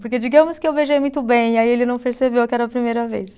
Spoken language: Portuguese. Porque digamos que eu beijei muito bem, aí ele não percebeu que era a primeira vez.